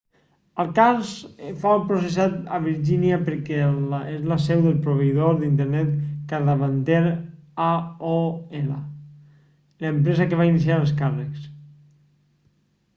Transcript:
el cas fou processat a virgínia perquè és la seu del proveïdor d'internet capdavanter aol l'empresa que va iniciar els càrrecs